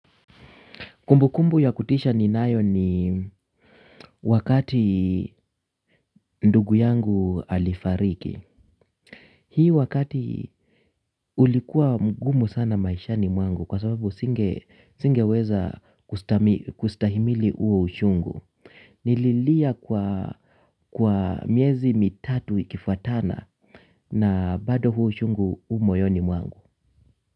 Kumbukumbu ya kutisha ninayo ni wakati ndugu yangu alifariki. Hii wakati ulikuwa mgumu sana maishani mwangu kwa sababu singeweza kustahimili uo ushungu. Nililia kwa kwa miezi mitatu ikifuatana na bado huu ushungu umoyoni mwangu.